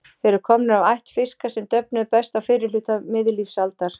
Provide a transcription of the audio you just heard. Þeir eru komnir af ætt fiska sem döfnuðu best á fyrri hluta miðlífsaldar.